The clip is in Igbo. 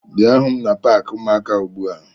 Bia hụ m na paakị ụmụaka ugbu a!